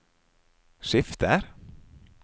skifter